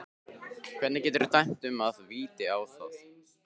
Hvernig geturðu dæmt víti á það?